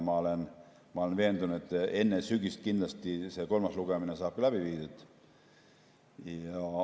Ma olen veendunud, et enne sügist saab kindlasti see kolmas lugemine läbi viidud.